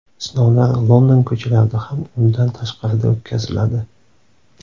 Sinovlar London ko‘chalarida hamda undan tashqarida o‘tkaziladi.